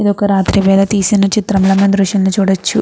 ఇది ఒక రాత్రి వేల తీసిన దృశ్యం లా మనం ఈ దృశ్యం లో చూడవచ్చు.